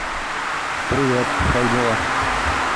привет как дела